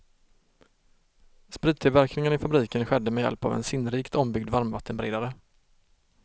Sprittillverkningen i fabriken skedde med hjälp av en sinnrikt ombyggd varmvattenberedare.